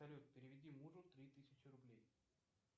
салют переведи мужу три тысячи рублей